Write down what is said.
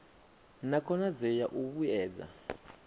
na khonadzeo ya u vhuedza